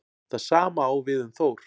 Það sama á við um Þór.